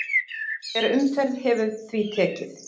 Hver umferð hefur því tekið